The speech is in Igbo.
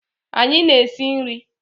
anyi na-esi nri